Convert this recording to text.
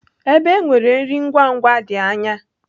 Ebe e nwere nri ngwa ngwa dị anya.